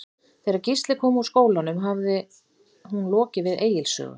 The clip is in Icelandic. Þegar Gísli kom úr skólanum hafði hún lokið við Egils sögu.